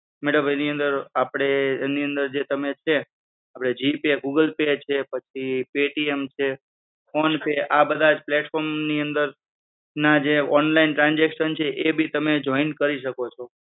madam એની અંદર આપડે એની અંદર તમે જે છે, આપડે g pay, google pay છે, પછી paytm છે, phone pay આ બધા platform ની અંદર ના જે online transaction છે એ ભી તમે joint કરી શકો છો.